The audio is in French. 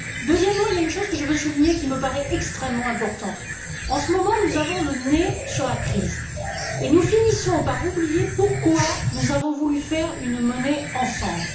Deuxièmement, il y a une chose que je veux souligner qui me paraît extrêmement importante. En ce moment, nous avons le nez sur la crise et nous finissons par oublier pourquoi nous avons voulu faire une monnaie ensemble.